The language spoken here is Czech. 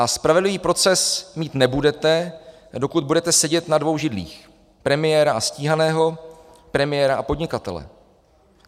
A spravedlivý proces mít nebudete, dokud budete sedět na svou židlích - premiéra a stíhaného, premiéra a podnikatele.